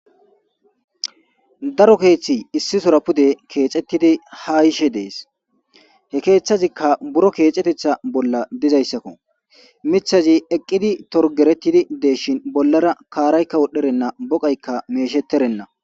Daro keeththi issi sora pude keexettidi ha ishe dees he keeththazikka buro keexetetha bolla dizayssakko mithazi eqqidi torgerettidi deeshin bollara kaaraykka wodherenna boqaykka mesheterenna.